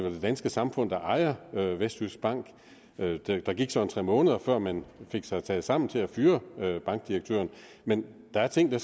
danske samfund der ejer vestjyskbank der gik så tre måneder før man fik taget sig sammen til at fyre bankdirektøren men der er ting